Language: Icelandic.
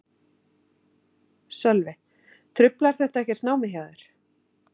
Sölvi: Truflar þetta ekkert námið hjá þér?